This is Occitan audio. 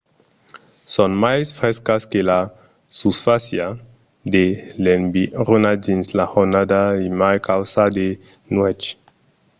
son mai frescas que la susfàcia de l'environa dins la jornada e mai caudas de nuèch